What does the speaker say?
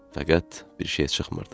Fəqət bir şey çıxmırdı.